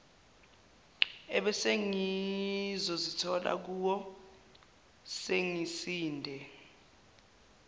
ebesengizozithola ngikuwo sengisinde